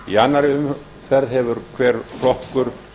í annarri umferð hefur hver flokkur